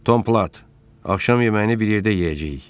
Tom, axşam yeməyini bir yerdə yeyəcəyik.